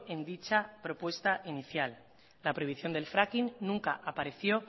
en dicha propuesta inicial la prohibición del fracking nunca apareció